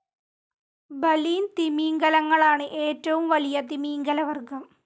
Baleen തിമിംഗലങ്ങളാണു ഏറ്റവും വലിയ തിമിംഗലവർഗ്ഗം.